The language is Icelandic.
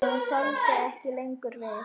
Hún þoldi ekki lengur við.